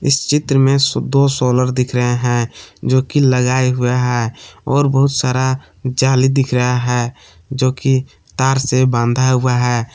चित्र में दो सोलर दिख रहे हैं जो की लगाए हुए हैं और बहुत सारा जाली दिख रहा है जो कि तार से बांधा हुआ है।